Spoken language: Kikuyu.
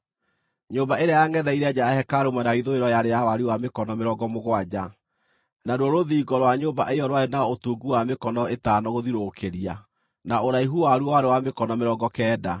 Nyũmba ĩrĩa yangʼetheire nja ya hekarũ mwena wa ithũĩro yarĩ ya wariĩ wa mĩkono mĩrongo mũgwanja. Naruo rũthingo rwa nyũmba ĩyo rwarĩ na ũtungu wa mĩkono ĩtano gũthiũrũrũkĩria, na ũraihu waruo warĩ wa mĩkono mĩrongo kenda.